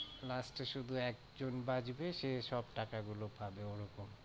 last এ শুধু একজন বাঁচবে সে সব টাকা গুলো পাবে ওরকম।